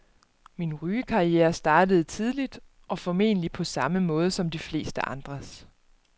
Min rygekarriere startede tidligt og formentlig på samme måde som de fleste andres.